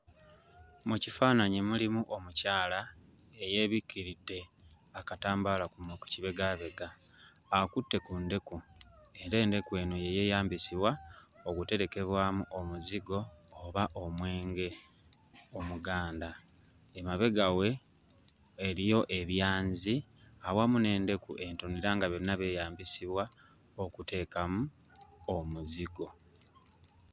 Mu kifaananyi mulimu omukyala eyeebikkiridde akatambaala ku kibegaabega. Akutte ku ndeku era endeku eno ye yeeyambisibwa okuterekebwamu omuzigo oba omwenge omuganda. Emabega we eriyo ebyanzi awamu n'endeku entono era nga byonna byeyambisibwa okuteekamu omuzigo.